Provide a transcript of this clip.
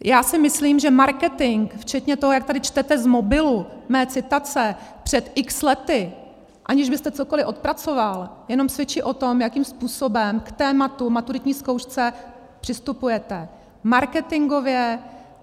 Já si myslím, že marketing včetně toho, jak tady čtete z mobilu mé citace před x lety, aniž byste cokoliv odpracoval, jenom svědčí o tom, jakým způsobem k tématu, maturitní zkoušce, přistupujete. Marketingově.